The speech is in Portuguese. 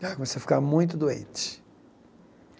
Ela começou a ficar muito doente.